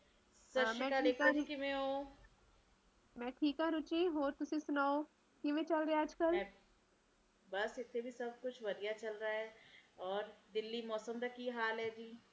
ਸਤਿ ਸ਼੍ਰੀ ਅਕਾਲ ਰੇਖਾ ਜੀ ਕਿਵੇਂ ਔ ਮੈਂ ਠੀਕ ਆ ਰੁਚੀ ਹੋਰ ਤੁਸੀ ਸੁਣਾਓ ਕਿਵੇਂ ਚਾਲ ਰਿਹਾ ਅੱਜ-ਕੱਲ ਬਸ ਇਥੇ ਜੀ ਸਭ ਕੁਸ਼ ਵੱਡੀਆਂ ਚਲਦਾ ਐ ਔਰ ਦਿੱਲੀ ਮੌਸਮ ਦਾ ਕਿ ਹਾਲ ਐਜੀ